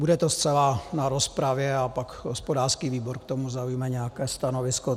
Bude to zcela na rozpravě a pak hospodářský výbor k tomu zaujme nějaké stanovisko.